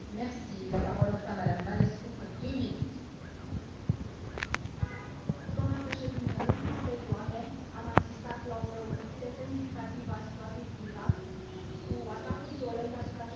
Doamnă președinte, în ultima perioadă am asistat la o înrăutățire semnificativă a situației din Irak, cu atacuri violente asupra cetățenilor irakieni, cu refugiați, morți și răniți, victime ale actelor de terorism.